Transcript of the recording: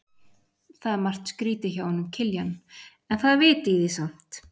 Það er margt skrýtið hjá honum Kiljan, en það er vit í því samt.